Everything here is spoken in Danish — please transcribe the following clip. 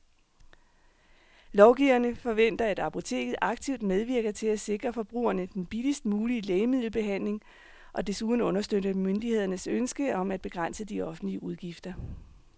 Lovgiverne forventer, at apoteket aktivt medvirker til at sikre forbrugerne den billigst mulige lægemiddelbehandling og desuden understøtter myndighedernes ønske om at begrænse de offentlige udgifter.